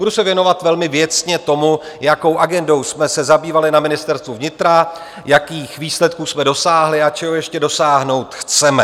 Budu se věnovat velmi věcně tomu, jakou agendou jsme se zabývali na Ministerstvu vnitra, jakých výsledků jsme dosáhli a čeho ještě dosáhnout chceme.